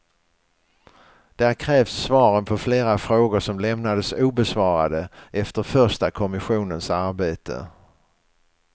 Där krävs svaren på flera frågor som lämnades obesvarade efter första kommissionens arbete.